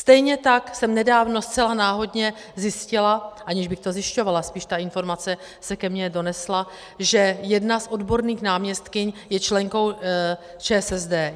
Stejně tak jsem nedávno zcela náhodně zjistila, aniž bych to zjišťovala, spíš ta informace se ke mně donesla, že jedna z odborných náměstkyň je členkou ČSSD.